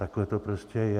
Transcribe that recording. Takhle to prostě je.